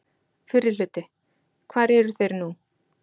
Fyrri hluti Hvar eru þeir nú?